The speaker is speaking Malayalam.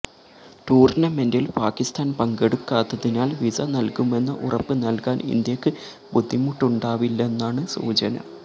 ടൂര്ണമെന്റില് പാക്കിസ്ഥാന് പങ്കെടുക്കാത്തതിനാല് വിസ നല്കുമെന്ന ഉറപ്പ് നല്കാന് ഇന്ത്യക്ക് ബുദ്ധിമുട്ടുണ്ടാവില്ലെന്നാണ് സൂചന